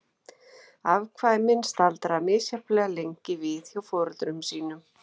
Afkvæmin staldra misjafnlega lengi við hjá foreldrum sínum.